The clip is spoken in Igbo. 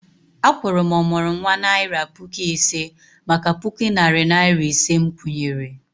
A kwuru m ọmụrụnwa naira puku ise maka puku narị naira ise nkwụnye ré